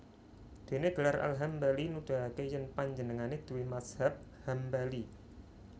Dene gelar Al Hambali nuduhake yen panjenengane duwe mazhab Hambali